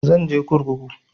Zan je kurkuku